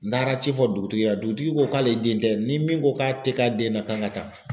N taara ci fɔ dugutigi la dugutigi ko k'ale den tɛ ni min ko k'a tɛ k'ale den na k'an ka taa